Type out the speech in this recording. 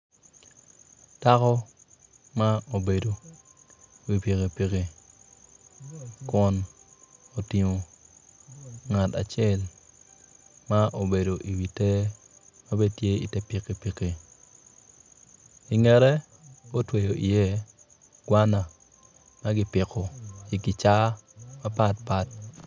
Dako ma obedo i wi piki piki kun otingo ngat acel ma obedo i wi ter ma bene tye i te pikipiki i ngete otweyo iye gwana ma kipiko i kicaa mapatpat.